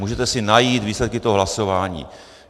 Můžete si najít výsledky toho hlasování.